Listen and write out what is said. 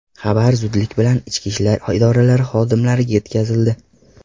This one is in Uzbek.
Xabar zudlik bilan ichki ishlar idoralari xodimlariga yetkazildi.